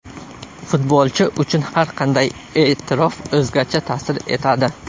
Futbolchi uchun har qanday e’tirof o‘zgacha ta’sir etadi.